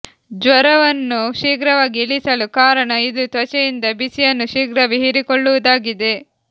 ಜ್ವರವನ್ನು ಶೀಘ್ರವಾಗಿ ಇಳಿಸಲು ಕಾರಣ ಇದು ತ್ವಚೆಯಿಂದ ಬಿಸಿಯನ್ನು ಶೀಘ್ರವೇ ಹೀರಿಕೊಳ್ಳುವುದಾಗಿದೆ